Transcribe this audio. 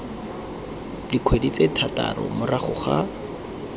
dikgwedi tse thataro morago ga